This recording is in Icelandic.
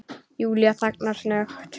Júlía þagnar snöggt.